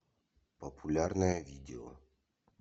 популярное видео